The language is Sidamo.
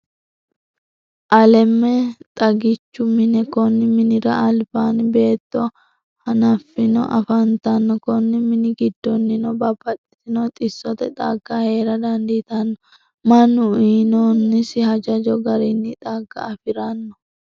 Alem xaggiichu mine, koni minira alibanni beeto hafhanni afantanno, koni mini gidooninno babaxitinoti xisote xagga heera danditanno, manu uuyinonisi hajajo garinni xaga afirano